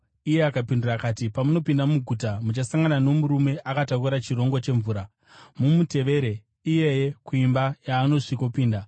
Iye akapindura akati, “Pamunopinda muguta, muchasangana nomurume akatakura chirongo chemvura. Mumutevere iyeye kuimba yaanosvikopinda,